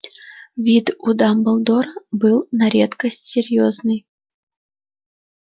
вид у дамблдора был на редкость серьёзный